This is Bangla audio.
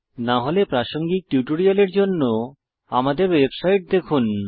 না হলে প্রাসঙ্গিক টিউটোরিয়াল জন্য আমাদের ওয়েবসাইট দেখুন